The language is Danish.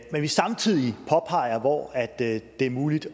vi samtidig påpeger hvor det er muligt